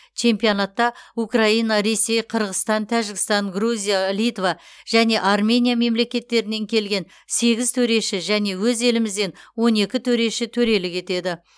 чемпионатта украина ресей қырғызстан тәжікстан грузия литва және армения мемлекеттерінен келген сегіз төреші және өз елімізден он екі төреші төрелік етеді